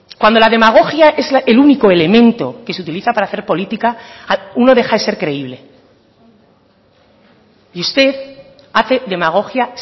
cuando la demagogia es el único elemento que se utiliza para hacer política uno deja de ser creíble y usted hace demagogia